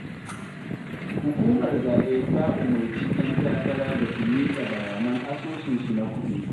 Hukumar zaɓe ta umarci 'yan takara da su miƙa bayanan asusunsu na kuɗi.